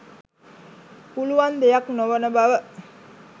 පුලුවන් දෙයක් නොවන බව.